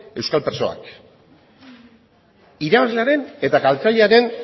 euskal presoak irabazlearen eta galtzailearen